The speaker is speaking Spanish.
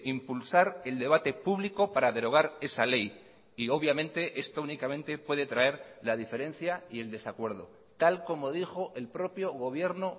impulsar el debate público para derogar esa ley y obviamente esto únicamente puede traer la diferencia y el desacuerdo tal como dijo el propio gobierno